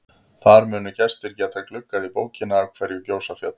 Þar munu gestir geta gluggað í bókina Af hverju gjósa fjöll?